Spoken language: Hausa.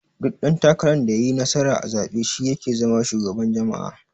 Duk dan takarar da yayi nasara a zabe shi yake zama shugaban jama'a.